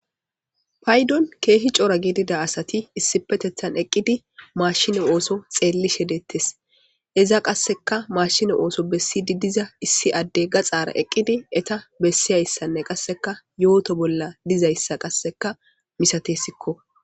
paydon keehi coora gidida asati issipetethan eqqidi maashino ooso xeelli shedettes eza qasseka mashino ooso bessidi diza issi adde gaxaara eqqidi eta bessi hayssanne qasseka yooto bolla dizayssa qasseka misatesikko.